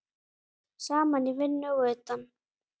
Saman í vinnu og utan.